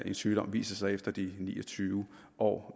en sygdom viser sig efter de ni og tyve år